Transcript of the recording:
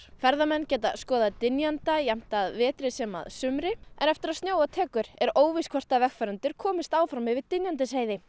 ferðamenn geta skoðað dynjanda jafnt að vetri sem sumri en eftir að snjóa tekur er óljóst hvort vegfarendur komast áfram yfir Dynjandisheiði